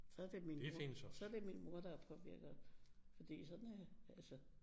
Så det min mor så det min mor der har påvirket fordi sådan altså